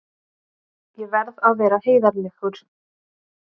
Ég verð að vera heiðarlegur.